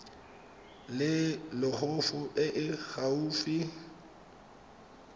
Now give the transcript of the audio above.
le loago e e gaufi